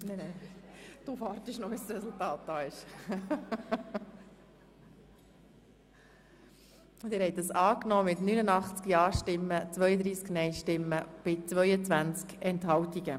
Sie haben die Motion angenommen mit 89 Ja- zu 32 Nein-Stimmen bei 22 Enthaltungen.